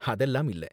அதெல்லாம் இல்ல